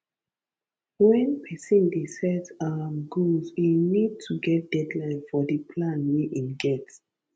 when person dey set um goal im need to get deadline for di plan wey im get